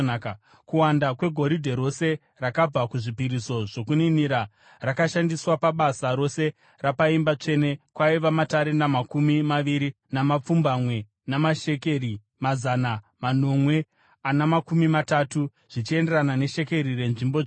Kuwanda kwegoridhe rose rakabva kuzvipiriso zvokuninira rakashandiswa pabasa rose rapaimba tsvene kwaiva matarenda makumi maviri namapfumbamwe namashekeri mazana manomwe ana makumi matatu , zvichienderana neshekeri renzvimbo tsvene.